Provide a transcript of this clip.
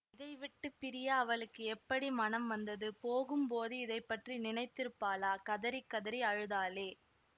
இதைவிட்டுப் பிரிய அவளுக்கு எப்படி மனம் வ்ந்தது போகும்போது இதை பற்றி நினைத்திருப்பாளா கதறிக் கதறி அழுதாளே